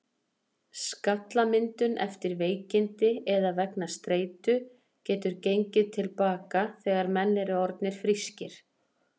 Skallamyndun eftir veikindi eða vegna streitu getur gengið til baka þegar menn eru orðnir frískir.